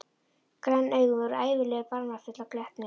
Græn augun voru ævinlega barmafull af glettni.